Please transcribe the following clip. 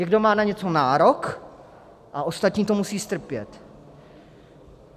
Někdo má na něco nárok a ostatní to musí strpět.